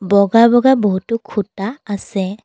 বগা বগা বহুতো খুঁটা আছে।